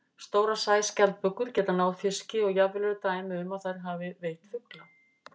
Stórar sæskjaldbökur geta náð fiski og jafnvel eru dæmi um að þær hafi veitt fugla.